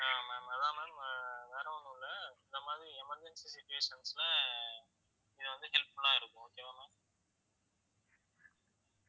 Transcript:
ஆஹ் ma'am அதான் ma'am வேற ஒண்ணும் இல்ல இந்த மாதிரி emergency situations ல இது வந்து helpful ஆ இருக்கும் okay வா ma'am